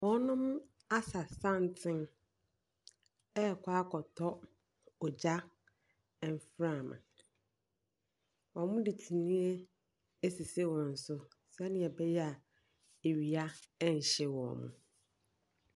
Wɔasa santene rekɔ akɔtɔ ogya mframa. Wɔde kyiniiɛ asisi wɔn so sɛnea ɛbɛyɛ a awia renhye wɔn.